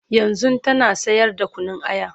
yanzun tana sayar da Kunun aya